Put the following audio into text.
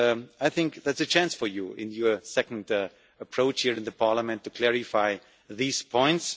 I think that is a chance for you, in your second approach here in the Parliament, to clarify these points.